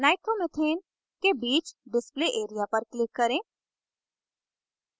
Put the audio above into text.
nitromethanes के बीच display area पर click करें